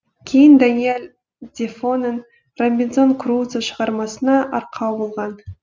кейін даниэль дефоның робинзон крузо шығармасына арқау болған